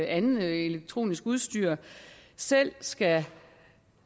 andet elektronisk udstyr selv skal